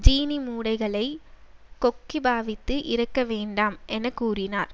சீனி மூடைகளை கொக்கி பாவித்து இறக்க வேண்டாம் என கூறினார்